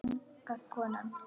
Aftur þagnaði konan.